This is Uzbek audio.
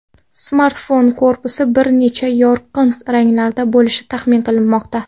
Smartfon korpusi bir necha yorqin ranglarda bo‘lishi taxmin qilinmoqda.